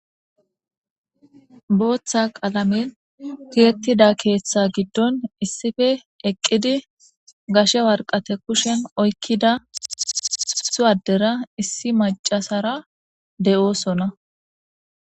booththa qalamen tiyettida keeththa giddon issife eqqidi gashe warqate kushen oykkida suwaddera issi macasara de7oosona